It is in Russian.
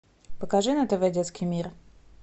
покажи на тв детский мир